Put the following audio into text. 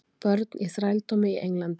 Börn í þrældómi í Englandi